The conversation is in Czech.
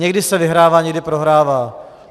Někdy se vyhrává, někdy prohrává.